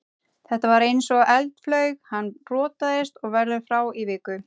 Þetta var eins og eldflaug, hann rotaðist og verður frá í viku.